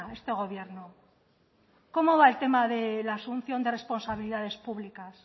este gobierno cómo va el tema de la asunción de responsabilidades públicas